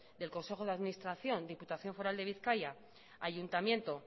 del consejo de administración diputación foral de bizkaia ayuntamiento